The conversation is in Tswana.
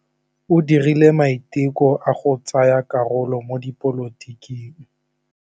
O dirile maitekô a go tsaya karolo mo dipolotiking.